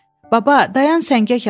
Baba, dayan səngək alaq!